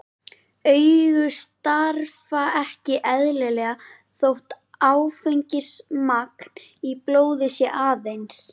Augu starfa ekki eðlilega þótt áfengismagn í blóði sé aðeins